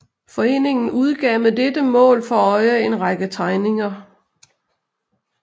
Foreningen udgav med dette mål for øje en række tegninger